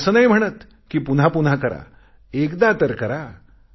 मी असे नाही म्हणत पुन्हा पुन्हा करा एकदा तर करा